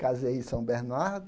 Casei em São Bernardo.